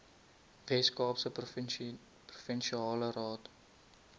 weskaapse provinsiale raad